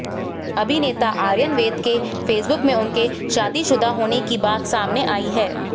अभिनेता आर्यन वैध के Facebook में उनके शादीशुदा होने की बात सामने आई है